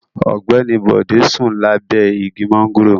Ogbeni Bode sun labe igi mangoro